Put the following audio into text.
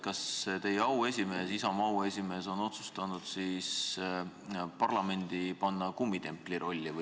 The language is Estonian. Kas teie erakonna auesimees on otsustanud parlamendi panna kummitempli rolli?